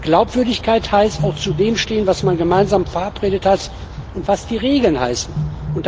Glaubwürdigkeit heißt auch, zu dem zu stehen, was man gemeinsam verabredet hat und was die Regeln besagen.